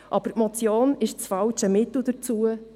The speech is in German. Aber diese Motion ist das falsche Mittel dazu.